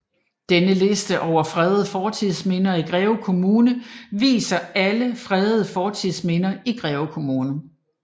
Denne liste over fredede fortidsminder i Greve Kommune viser alle fredede fortidsminder i Greve Kommune